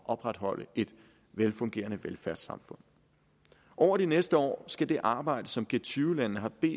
opretholde et velfungerende velfærdssamfund over de næste år skal det arbejde som g20 landene har bedt